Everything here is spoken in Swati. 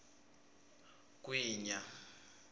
gwinya